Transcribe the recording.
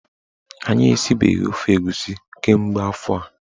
Anyị esibeghi ofe egusi kemgbe afọ a.